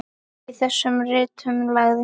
Í þessum ritum lagði